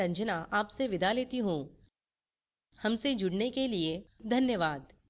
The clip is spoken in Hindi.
हमसे जुड़ने के लिए धन्यवाद